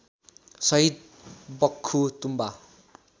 शहीद बक्खु तुम्बा